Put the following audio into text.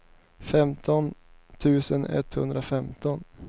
femton tusen etthundrafemton